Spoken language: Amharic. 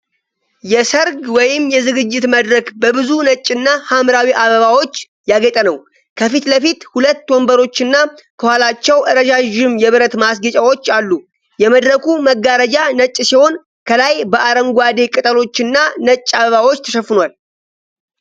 የሠርግ ወይም የዝግጅት መድረክ በብዙ ነጭና ሐምራዊ አበባዎች ያጌጠ ነው። ከፊት ለፊት ሁለት ወንበሮችና ከኋላቸው ረዣዥም የብረት ማስጌጫዎች አሉ። የመድረኩ መጋረጃ ነጭ ሲሆን፣ ከላይ በአረንጓዴ ቅጠሎችና ነጭ አበባዎች ተሸፍኗል።